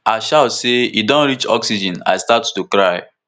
i shout say e don reach oxygen i start to cry